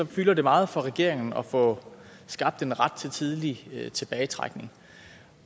fylder det meget for regeringen at få skabt en ret til tidlig tilbagetrækning